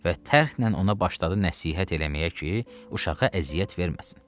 Və tərxnən ona başladı nəsihət eləməyə ki, uşağa əziyyət verməsin.